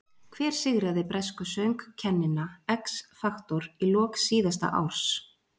Hver sigraði bresku söngkennina X Factor í lok síðasta árs?